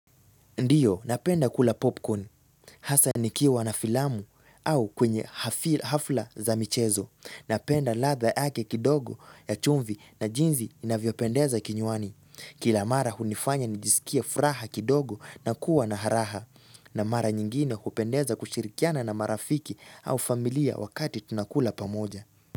Ndiyo, napenda kula popcorn. Hasa nikiwa na filamu au kwenye hafla za michezo. Napenda ladha yake kidogo ya chumvi na jinsi inavyopendeza kinywani. Kila mara hunifanya nijisikie furaha kidogo na kuwa na raha. Na mara nyingine hupendeza kushirikiana na marafiki au familia wakati tunakula pamoja.